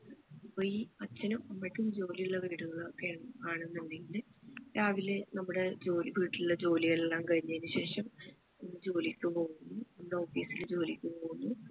അപ്പൊ ഈ അച്ഛനും അമ്മയ്ക്കും ജോലിയുള്ള വീടുകൾ ഒക്കെ ആണെന്നുണ്ടെങ്കിൽ രാവിലെ നമ്മുടെ ജോലി വീട്ടിലുള്ള ജോലി എല്ലാം കഴിഞ്ഞതിനു ശേഷം ജോലിക്കു പോകുന്ന office ല് ജോലിക്കു പോകുന്നു